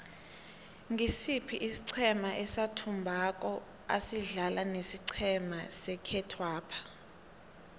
ngisiphi isiqhema esathumbako asidlala nesiqhema sekhethwapha